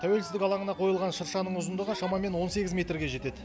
тәуелсіздік алаңына қойылған шыршаның ұзындығы шамамен он сегіз метрге жетеді